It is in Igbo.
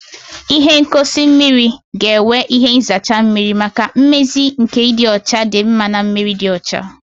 Ihe ngosi mmiri ga-enwe ihe nzacha mmiri maka mmezi nke ịdị ọcha dị mma na mmiri dị ọcha